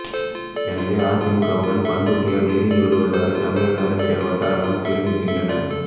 எனவே அதிமுகவுடன் பண்ருட்டியார் நெருங்கி வருவதாக தமிழக அரசியல் வட்டாரங்கள் தெரிவிக்கின்றன